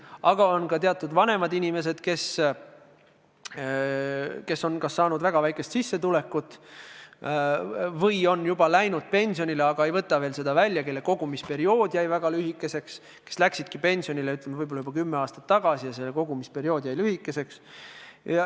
Aga on ka vanemaid inimesi, kes on kas saanud väga väikest sissetulekut või on juba läinud pensionile, aga ei ole veel seda välja võtnud, või kelle kogumisperiood jäi väga lühikeseks – inimesed, kes läksid pensionile võib-olla juba kümme aastat tagasi ja nende kogumisperiood jäi lühikeseks.